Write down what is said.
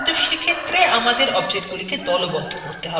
কিনতু সেক্ষেত্রে আমাদের objectsগুলিকে দলবদ্ধ করতে হবে